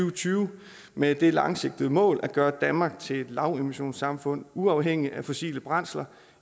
og tyve med det langsigtede mål at gøre danmark til et lavemissionssamfund uafhængig af fossile brændsler